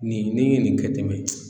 Nin ni ye nin kɛ ten